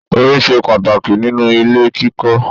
Omi ṣe pàtàkì nínú ilé kíkọ́.